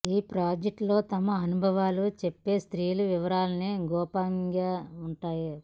ఈ ప్రాజెక్టులో తమ అనుభవాలు చెప్పే స్త్రీల వివరాలన్నీ గోప్యంగా ఉంటాయి